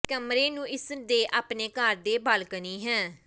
ਕਮਰੇ ਨੂੰ ਇਸ ਦੇ ਆਪਣੇ ਘਰ ਦੇ ਬਾਲਕੋਨੀ ਹੈ